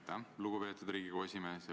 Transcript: Aitäh, lugupeetud Riigikogu esimees!